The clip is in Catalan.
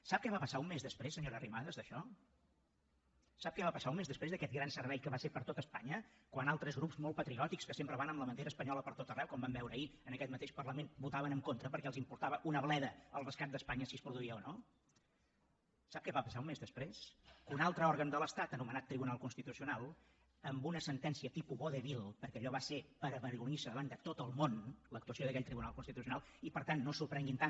sap què va passar un mes després senyora arrimadas d’això sap què va passar un mes després d’aquest gran servei que va ser per a tot espanya quan altres grups molt patriòtics que sempre van amb la bandera espanyola pertot arreu com vam veure ahir en aquest mateix parlament votaven en contra perquè els importava un rave el rescat d’espanya si es produïa o no sap què va passar un mes després que un altre òrgan de l’estat anomenat tribunal constitucional amb una sentència tipus vodevil perquè allò va ser per avergonyirse davant de tot el món l’actuació d’aquell tribunal constitucional i per tant no s’ho prenguin tant